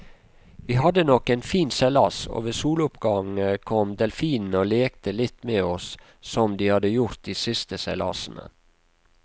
Vi hadde nok en fin seilas, og ved soloppgang kom delfinene og lekte litt med oss som de har gjort de siste seilasene.